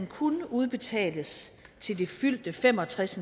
kun udbetales til det fyldte fem og tres